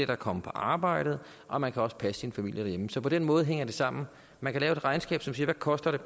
kan komme på arbejde og man kan også passe sin familie derhjemme så på den måde hænger det sammen man kan lave et regnskab som siger hvad koster